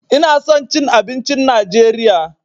Ina son cin abincin najeriya.